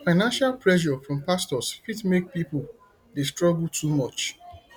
financial pressure from pastors fit make pipo dey struggle too much